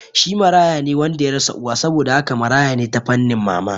Shi marayane wanda yarasa uwa, saboda haka marayane ta fannin mama